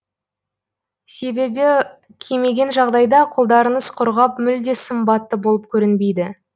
себебі кимеген жағдайда қолдарыңыз құрғап мүлде сымбатты болып көрінбейді